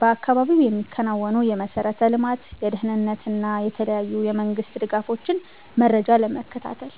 በአካባቢው የሚከናወኑ የመሠረተ ልማት፣ የደህንነት እና የተለያዩ የመንግስት ድጋፎችን መረጃ ለመከታተል።